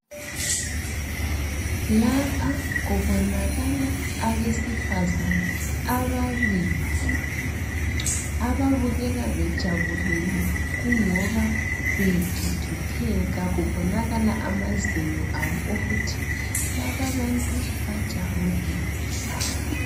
Lapha kubonakala abesifazana ababili, ababukeka bejabulile kungoba begigitheka kubonakala amazinyo abo ukuthi laba abantu bajabulile.